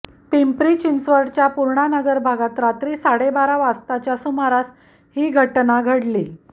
पिंपरी चिंचवडच्या पूर्णानगर भागात रात्री साडेबारा वाजताच्या सुमारास ही घटना घडली